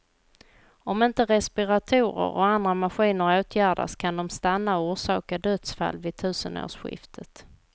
Om inte respiratorer och andra maskiner åtgärdas kan de stanna och orsaka dödsfall vid tusenårsskiftet.